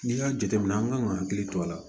N'i y'a jateminɛ an kan ka hakili to a la